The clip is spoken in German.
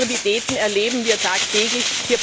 All diese Absurditäten erleben wir tagtäglich.